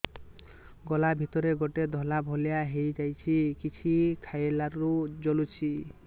ଗଳା ଭିତରେ ଗୋଟେ ଧଳା ଭଳିଆ ହେଇ ଯାଇଛି କିଛି ଖାଇଲାରୁ ଜଳୁଛି